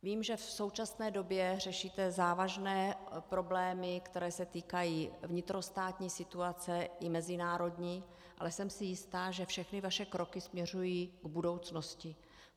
Vím, že v současné době řešíte závažné problémy, které se týkají vnitrostátní situace i mezinárodní, ale jsem si jista, že všechny vaše kroky směřují k budoucnosti.